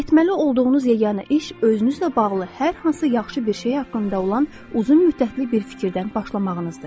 Etməli olduğunuz yeganə iş özünüzlə bağlı hər hansı yaxşı bir şey haqqında olan uzun müddətli bir fikirdən başlamağınızdır.